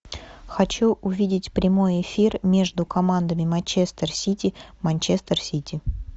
хочу увидеть прямой эфир между командами манчестер сити манчестер сити